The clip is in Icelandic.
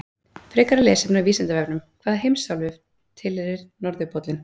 Frekara lesefni á Vísindavefnum: Hvaða heimsálfu tilheyrir norðurpóllinn?